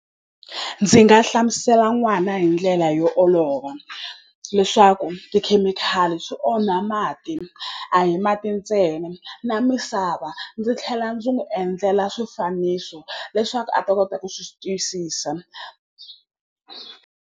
Ndzi nga hlamusela n'wana hi ndlela yo olova leswaku tikhemikhali swi onha mati a hi mati ntsena na misava ndzi tlhela ndzi n'wi endlela swifaniso leswaku a ta kota ku swi twisisa.